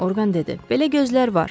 Orqan dedi, belə gözlər var.